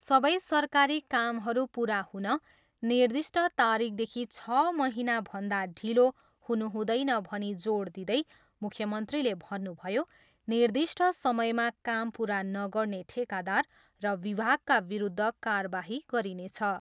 सबै सरकारी कामहरू पुरा हुन निर्दिष्ठ तारिखदेखि छ महिनाभन्दा ढिलो हुनुहुँदैन भनी जोड दिँदै मुख्यमन्त्रीले भन्नुभयो, निर्दिष्ठ समयमा काम पुरा नगर्ने ठेकादार र विभागका विरुद्ध कारबाही गरिनेछ।